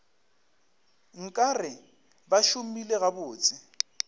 nka re ba šomile gabotse